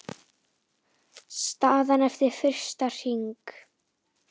Staðan eftir fyrsta hring